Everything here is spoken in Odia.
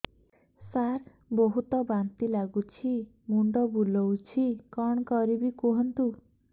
ସାର ବହୁତ ବାନ୍ତି ଲାଗୁଛି ମୁଣ୍ଡ ବୁଲୋଉଛି କଣ କରିବି କୁହନ୍ତୁ